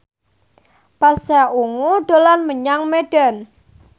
Pasha Ungu dolan menyang Medan